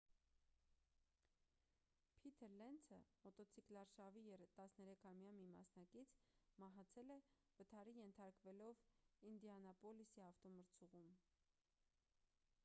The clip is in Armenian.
փիթր լենցը մոտոցիկլարշավի 13-ամյա մի մասնակից մահացել է վթարի ենթարկվելով ինդիանապոլիսի ավտոմրցուղում